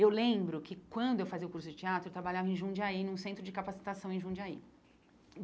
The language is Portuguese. Eu lembro que quando eu fazia o curso de teatro, eu trabalhava em Jundiaí, num centro de capacitação em Jundiaí.